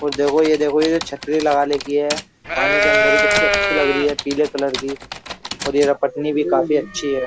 और देखो ये देखो ये जो छतरी लगाने की है। पानी के अंदर ये कितनी अच्छी लग रही है पीले कलर की और ये रपटनी भी काफी अच्छी है।